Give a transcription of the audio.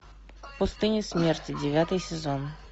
пустыня смерти девятый сезон